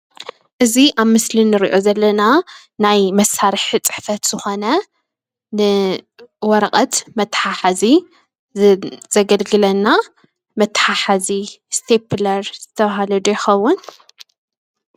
እዚ ኣብ ምስሊ እንሪኦ ዘለና ናይ መሳሪሒ ፅሕፈት ዝኾነ ንወረቀት መታሓሐዚ ዘገልግለና መታሓሐዚ ኢስተፕለር ዝተባሃለ ዶ ይከውን?